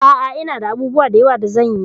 A'a, ina da abubuwa da yawa da zan yi.